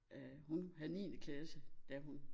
Øh hun vil have niende klasse da hun